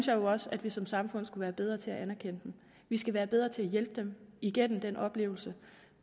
jo også at vi som samfund skulle være bedre til at anerkende dem vi skal være bedre til at hjælpe dem igennem den oplevelse